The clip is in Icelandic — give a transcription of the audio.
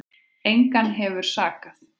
Engan hefur sakað